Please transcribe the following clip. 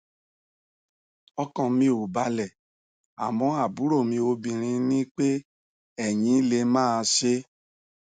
ọkàn mi ò balẹ àmọ àbúrò mi obinrin ní pé eyín lè máa ṣe é